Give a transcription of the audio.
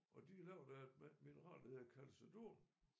Og de laver da et mineral der hedder calcedon